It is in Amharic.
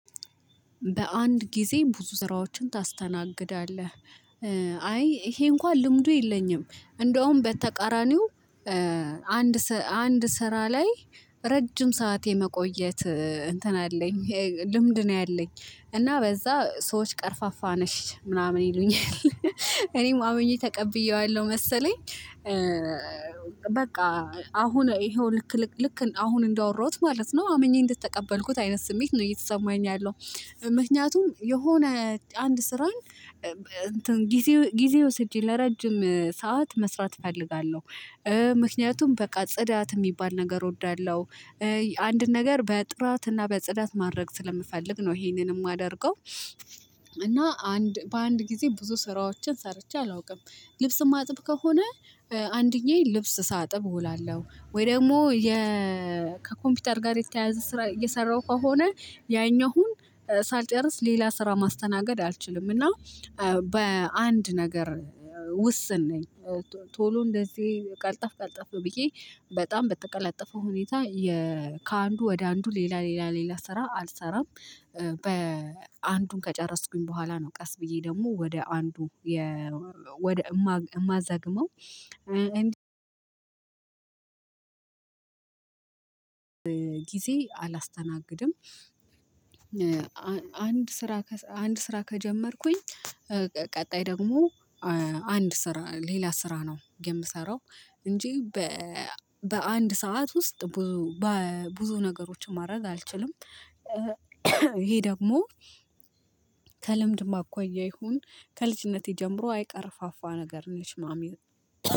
በአንድ ጊዜ ብዙ ስራዎችን ታስተናግዳለህ? አይ ይሄ እንኳን ልምዱ የለኝም እንዲያዉም በተቃራኒው። አንድ አንድ ስራ ላይ ረጅም ሰዓት የመቆየት እንትን አለኝ ልምድ ነው ያለኝ። እና በዛ ሰዎች ቀርፋፋ ነሽ ምናምን ይሉኛል እኔም አምኜ ተቀብየዋለሁ መሰለኝ። በቃ አሁን ይሄው ልክ ልክ አሁን እንዳወራሁት ማለት ነው አምኜ እንደተቀበልኩት አይነት ስሜት ነው እየተሰማኝ ያለው። ምክንያቱም የሆነ አንድ ስራን እንትን ጊዜ ጊዜ ወስጄ ለረጅም ሰዓት መስራት እፈልጋለሁ። ምክንያቱም በቃ ጽዳት የሚባል ነገር እወዳለሁ። አንድ ነገር በጥራትና በጽዳት ማድረግ ስለምፈልግ ነው ይሄንን የማደርገው። እና አንድ በአንድ ጊዜ ብዙ ስራዎችን ሰርቼ አላውቅም። ልብስ የማጥብ ከሆነ አንደኛየን ልብስ ሳጥብ እውላለሁ ወይ ደግሞ የ ከኮምፒውተር ጋር የተያያዘ ስራ እየሰራሁ ከሆነ ያኛውን ሳልጨርስ ሌላ ስራ ማስተናገድ አልችልም። እና በአንድ ነገር ውስን ነኝ። ቶሎ እንደዚህ ቀልጠፍ ቀልጠፍ ብዬ በጣም በተቀላጠፈው ሁኔታ የ ከአንዱ ወደ አንዱ ሌላ ያ ሌላ ስራ አልሰራም። በአንዱን ከጨረስኩኝ በኋላ ነው ቀስ ብዬ ደግሞ ወደ አንዱ የ ወደ የማ የማዘግመው ጊዜ አላስተናግድም። አንድ ስራ ከሰ አንድ ስራ ከጀመርኩኝ ቀጣይ ደግሞ አንድ ስራ ሌላ ስራ ነው የምሰራው። እንጂ በአንድ ሰዓት ውስጥ ብዙ በብዙ ነገሮች ማድረግ አልችልም። ይሄ ደግሞ ከልምድም አኳያ ይሁን ከልጅነቴ ጀምሮ አይ ቀርፋፋ ነገር ነሽ ነውሚሉ።